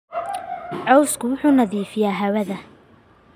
Cawsku wuxuu nadiifiyaa hawada.